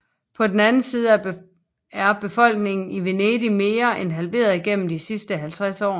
På den anden side er befolkningen i Venedig mere end halveret gennem de sidste 50 år